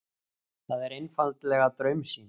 Það er einfaldlega draumsýn.